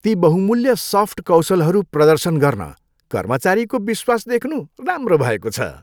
ती बहुमूल्य सफ्ट कौशलहरू प्रदर्शन गर्न कर्मचारीको विश्वास देख्नु राम्रो भएको छ।